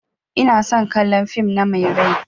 Ina son kallan fin na Mai rai.